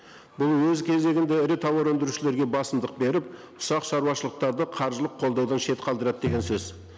бұл өз кезегінде ірі тауар өндірушілерге басымдық беріп ұсақ шаруашылықтарды қаржылық қолдаудан шет қалдырады деген сөз